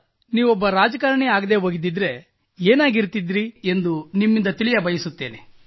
ನೀವು ಒಬ್ಬ ರಾಜಕಾರಣಿ ಆಗಿರದೇ ಹೋದಲ್ಲಿ ಏನಾಗುತ್ತಿದ್ದಿರಿ ಎಂದು ನಿಮ್ಮಿಂದ ತಿಳಿಯ ಬಯಸುತ್ತೇನೆ